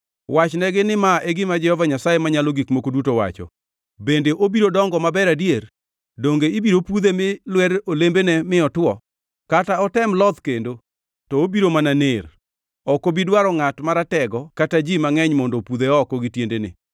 “Wachnegi ni ma e gima Jehova Nyasaye Manyalo Gik Moko Duto wacho: ‘Bende obiro dongo maber adier? Donge ibiro pudhe mi lwer olembene mi otwo? Kata otem loth kendo to obiro mana ner. Ok obi dwaro ngʼat maratego kata ji mangʼeny mondo opudhe oko gi tiendene.